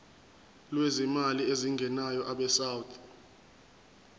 lwezimali ezingenayo abesouth